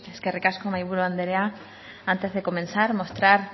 eskerrik asko mahaiburu andrea antes de comenzar mostrar